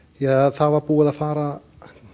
það var búið að fara